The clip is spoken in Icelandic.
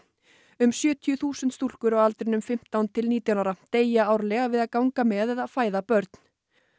um sjötíu þúsund stúlkur á aldrinum fimmtán til nítján ára deyja árlega við að ganga með eða fæða börn